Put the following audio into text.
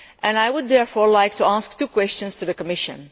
I would therefore like to put two questions to the Commission.